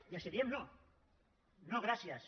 i els diem no no gràcies